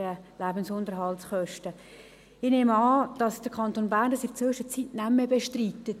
Ich nehme an, dass der Kanton Bern dies in der Zwischenzeit nicht mehr bestreitet.